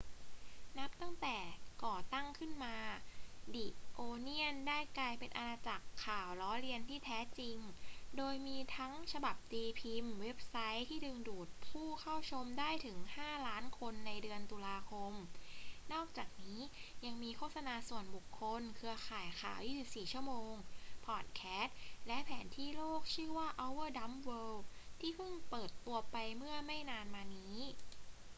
นับตั้งแต่ก่อตั้งขึ้นมา the onion ได้กลายเป็นอาณาจักรข่าวล้อเลียนที่แท้จริง โดยมีทั้งฉบับตีพิมพ์ เว็บไซต์ที่ดึงดูดผู้เข้าชมได้ถึง 5,000,000 คนในเดือนตุลาคม นอกจากนี้ยังมีโฆษณาส่วนบุคคล เครือข่ายข่าว 24 ชั่วโมง พอดแคสต์ และแผนที่โลกชื่อว่า our dumb world ที่เพิ่งเปิดตัวไปเมื่อไม่นานมานี้